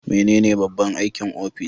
Menene babban aikin ofis?